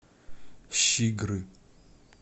щигры